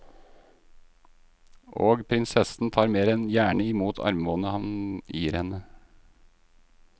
Og prinsessen tar mer enn gjerne i mot armbåndet han gir henne.